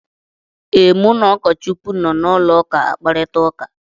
Ee, mụ na ụkọchukwu nọ na ụlọụka akparịta ụka.